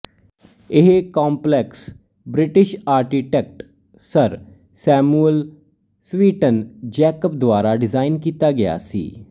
ਇਹ complex British architect sir Samuel Swinton Jacob ਦੁਆਰਾ design ਕੀਤਾ ਗਿਆ ਸੀ